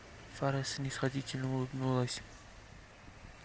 фара снисходительно улыбнулась